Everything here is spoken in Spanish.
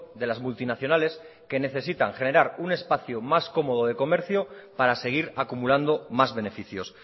de las multinacionales que necesitan generar un espacio más cómodo de comercio para seguir acumulando más beneficios